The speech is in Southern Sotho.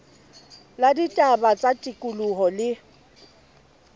la ditaba tsa tikoloho le